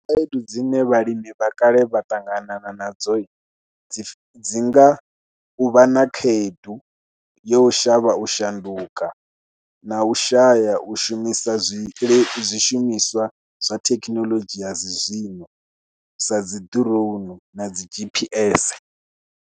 Khaedu dzine vhalimi vha kale vha ṱangana nadzo dzi dzi nga u vha na khaedu yo shavha u shanduka na u shaya u shumisa zwishumiswa zwa thekinoḽodzhi ya dzi zwino, sa dzi drown na dzi G_P_S.